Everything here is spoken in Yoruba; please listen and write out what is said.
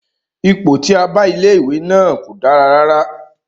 Ipò tí a bá ilé ìwé náà kò dára rárá.